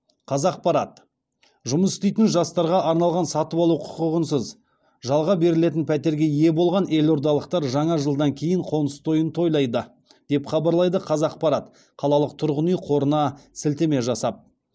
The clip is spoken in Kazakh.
қазақпарат жұмыс істейтін жастарға арналған сатып алу құқығынсыз жалға берілетін пәтерге ие болған елордалықтар жаңа жылдан кейін қоныс тойын тойлайды деп хабарлайды қазақпарат қалалық тұрғын үй қорына сілтеме жасап